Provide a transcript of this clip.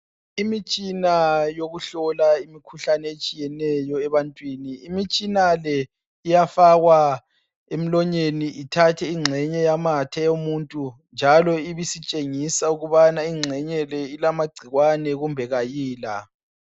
Imitshina yokuhlola imikhuhlane etshiyeneyo ebantwini imitshina le iyafakwa emlonyeni ithathe ingxenye yamathe yomuntu njalo ibisitshengisa ukubana ingxenye le ilamagcikwane kumbe kayila.